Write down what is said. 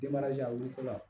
Denmaraja woloko la